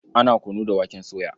Ana kunu da waken soya.